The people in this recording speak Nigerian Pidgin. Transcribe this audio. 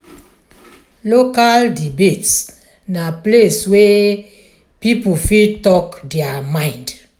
local debates na place wey people fit talk their mind.